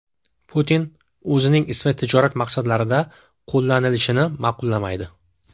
Putin o‘zining ismi tijorat maqsadlarida qo‘llanilishini ma’qullamaydi.